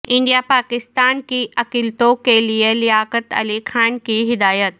India Pakistan کی اقلیتوں کے لیے لیاقت علی خان کی ہدایت